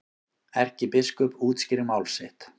Erkibiskup útskýrir mál sitt